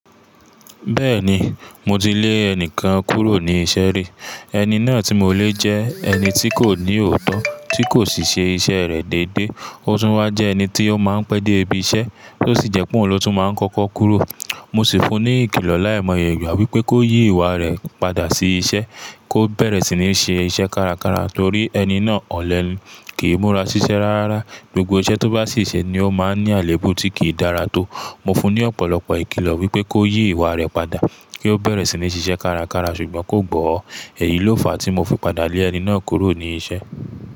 Bẹ́ẹ̀ni, mo ti lé ẹni kan kúrò ní iṣẹ́ rí. Ẹni náà tí mo lé jẹ́ ẹni tí kò ní òótọ́, tí kò sì ṣe iṣẹ́ rẹ̀ dédé. Ó tún wá jẹ ẹni tí ó máa ń pẹ́ dé ibi iṣẹ́, tó sì jẹ pé òun ló tún máa ń kọ́kọ́ kúrò. Mo sì fún un ní ìkìlọ̀ láìmọye ìgbà wípé kó yí ìwà rẹ̀ padà sí iṣẹ́, kó bẹ̀rẹ̀ sí ní ṣe iṣẹ́ kárakára torí ẹni náà ọ̀lẹ ni. Kìí múra ṣiṣẹ́ rárá. Gbogbo iṣẹ́ tó bá sì ṣe ni ó máa ń ní àléébù, tí kì í dára tó. Mo fún ní ọ̀pọ̀lọpọ̀ ìkìlọ̀ wípé kí ọ yí ìwà rẹ̀ padà, kí o bẹ̀rẹ̀ sí ní ṣiṣẹ́ kára kára, ṣùgbọ́n kò gbọ́, èyí ló fà tí mo fi padà lé ẹni náà kúrò ní iṣẹ́.